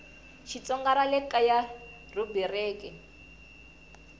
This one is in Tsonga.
xitsonga ra le kaya rhubiriki